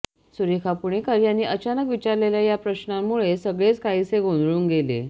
सुरेखा पुणेकर यांनी अचानक विचारलेल्या या प्रश्नामुळे सगळेच काहिसे गोंधळून गेले